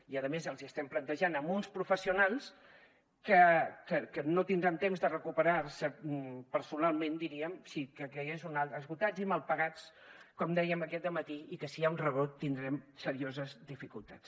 i a més els hi estem plantejant amb uns professionals que no tindran temps de recuperar se personalment diríem esgotats i mal pagats com dèiem aquest dematí i que si hi ha un rebrot tindrem serioses dificultats